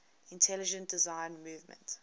intelligent design movement